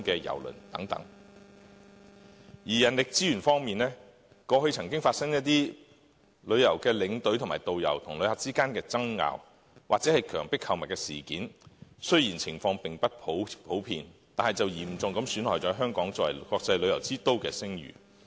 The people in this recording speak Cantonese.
人力資源方面，過去曾發生一些旅遊領隊和導遊與旅客之間的爭拗，或強迫購物事件，雖然情況並不普遍，但卻嚴重損害了香港作為國際旅遊之都的聲譽。